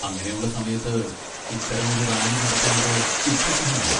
അങ്ങനെയുള്ള സമയത്ത് ഇത്തരമൊരു റാലി നടത്തുന്നത് യുക്തിസഹമല്ല.